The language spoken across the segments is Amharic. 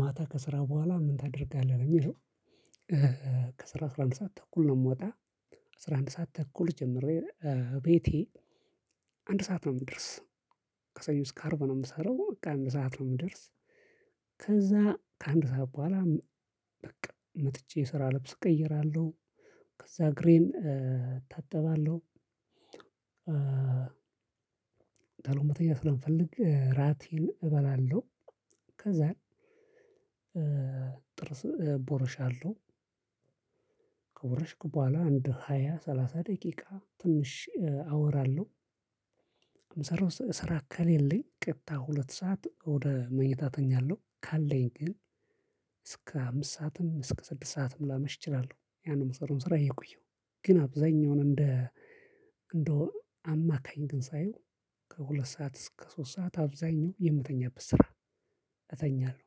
ማታ ከስራ በኋላ ምን ታደርጋለህ ነው የሚለው? ከስራ አስራ አንድ ሰዓት ተኩል ነው የምወጣ። አስራ አንድ ሰዓት ተኩል ጀምሬ ቤቴ አንድ ሰዓት ነው የምደርስ። ከሰኞ እስከ አርብ ነው የምሰራው በቃ አንድ ሰዓት ነው የምደርስ። ከዛ ከአንድ ሰዓት በኋላ በቃ መጥቼ ስራ ልብስ እቀይራለሁ። ከዛ እግሬን እታጠባለሁ። ቶሎም መተኛት ስለምፈልግ እራቴን እበላለሁ። ከዛ ጥርስ ቦርሻለው። ከቦረሽኩ ከበኋላ አንድ ሃያ ሰላሳ ደቂቃ ትንሽ አወራለሁ። ስራ ከሌለኝ ቀጥታ ሁለት ሰዓት ወደ መኝታ ተኛለሁ። ካለኝ ግን እስከ አምስት ሰዓትም እስከ ስድስት ሰዓትም ላመሽ እችላለሁ። ያንን ምሰራውን ስራ እየቆየው ግን አብዛኛውን እንደ እንደው አማካኝ ግን ሳየው ከሁለት ሰዓት እስከ ሶስት ሰዓት አብዛኛው የምተኛበት ስራ እተኛለሁ።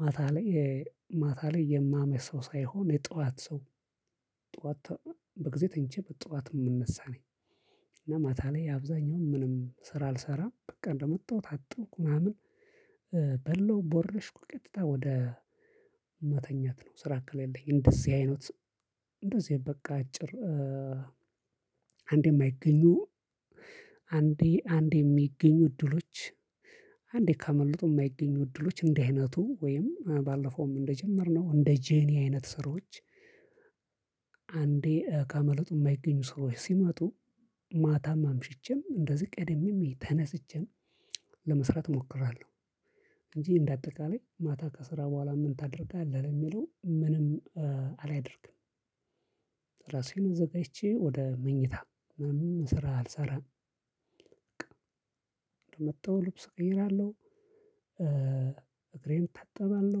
ማታ ላይ ማታ ላይ የማመሽ ሰው ሳይሆን የጠዋት ሰው። ጠዋት በጊዜ ተኝቼ በጠዋት የምነሳ ነኝ። እና ማታ ላይ አብዛኛውን ምንም ስራ አልሰራም በቃ እንደመጣሁ ታጠብኩ ምናምን። በላው ቦረሽኩ ቀጥታ ወደ መተኛት ነው። ስራ ከሌለኝ እንደዚህ አይነት እንደዚህ በቃ አጭር አንዴም የማይገኙ አንዴ አንዴ የሚገኙ እድሎች። አንዴ ካመለጡ የማይገኙ እድሎች እንደህ አይነቱ ወይም ባለፈውም እንደጀመርነው እንደ ጄኒ አይነት ስራዎች። አንዴ ካመለጡ የማይገኙ ሰራዎች ሲመጡ ማታም አምሽቼም እንደዚህ ቀደሜም ተነስቼም ለመስራት እሞክራለሁ። እንጂ እንደ አጠቃላይ ማታ ከስራ በኋላ ምን ታደርጋለህ ለሚለው ምንም አላደርግም። ራሴን አዘጋጅቼ ወደ መኝታ ምንም ስራ አልሰራም። በቃ መጣው ልብስ እቀይራለሁ። እግሬን እታጥባለሁ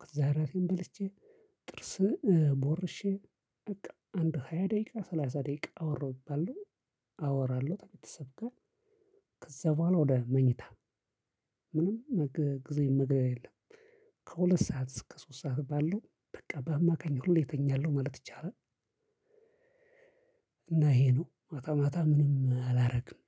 ከዛ እራቴን በልቼ ጥርስ ቦርሼ በቃ አንድ ሃያ ደቂቃ ሰላሳ ደቂቃ አወራሁ ቢባል ነው። አወራለሁ ከቤተሰብ ጋር። ከዛ በኋላ ወደ መኝታ ምንም ጊዜ መግደል የለም። ከሁለት ሰዓት እስከ ሶስት ሰዓት ባለው በቃ በአማካኝ ሁሌ ተኛለው ማለት ይቻላል። እና ይሄ ነው ማታ ማታ ምንም አላደርግም።